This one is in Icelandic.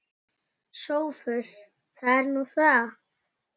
SOPHUS: Það er nú það.